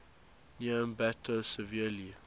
near ambato severely